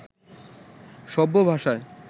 সভ্য ভাষায়